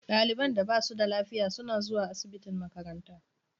Ɗaliban da ba su da lafiya suna zuwa asibitin makaranta.